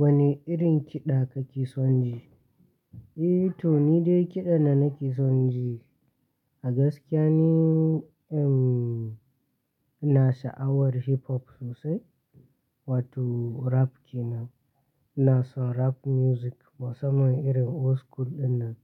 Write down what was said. Wane irin kiɗa kake son ji? Eh, to ni dai kiɗa da na nake son ji a gaskiya ni, ehm, ina sha'awar hip hop sosai wato rap kenan. Ina son rap music, musamman irin old school ɗinnan,